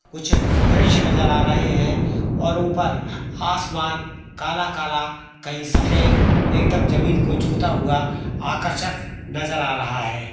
कुछ दृश्य नज़र आ रहे हैं और ऊपर आसमान काला-काला कहीं सफेद एकदम जमीन को छूता हुआ आकर्षक नज़र आ रहा है।